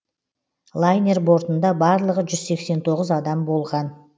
лайнер бортында барлығы жүз сексен тоғыз адам болған